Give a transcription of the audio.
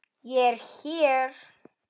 ÉG ER HÉR!